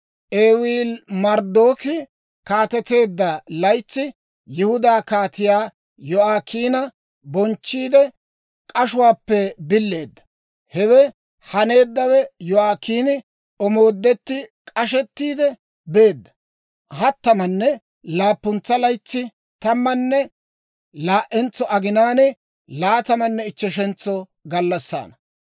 Ewiili-Marodaaki kaateteedda laytsi Yihudaa kaatiyaa Yo'aakiina bonchchiidde, k'ashuwaappe billeedda. Hewe haneeddawe Yo'aakiini omoodetti k'ashettiide beedda hattamanne laappuntsa laytsi, tammanne laa"entso aginaan, laatamanne ichcheshentso gallassaana.